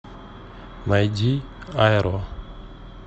найди айро